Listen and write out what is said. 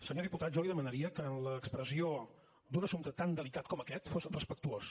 senyor diputat jo li demanaria que en l’expressió d’un assumpte tan delicat com aquest fos respectuós